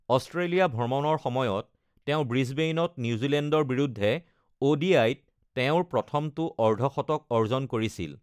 Australia ভ্ৰমণৰ সময়ত, তেওঁ ব্ৰিছবেইনত নিউজিলেণ্ডৰ বিৰুদ্ধে ও.ডি.আই-ত তেওঁৰ প্ৰথমটো অৰ্ধশতক অৰ্জন কৰিছিল।